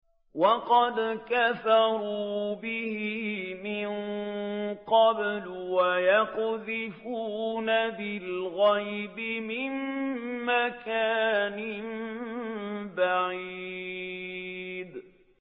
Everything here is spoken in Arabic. وَقَدْ كَفَرُوا بِهِ مِن قَبْلُ ۖ وَيَقْذِفُونَ بِالْغَيْبِ مِن مَّكَانٍ بَعِيدٍ